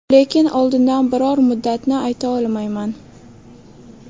Lekin oldindan biror muddatni ayta olmayman.